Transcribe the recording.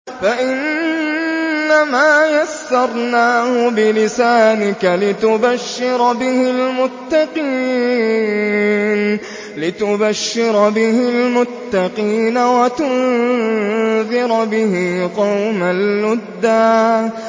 فَإِنَّمَا يَسَّرْنَاهُ بِلِسَانِكَ لِتُبَشِّرَ بِهِ الْمُتَّقِينَ وَتُنذِرَ بِهِ قَوْمًا لُّدًّا